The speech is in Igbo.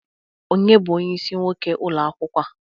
Onye bụ onyeisi nwoke ụlọ akwụkwọ a?